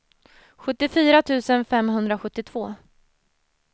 sjuttiofyra tusen femhundrasjuttiotvå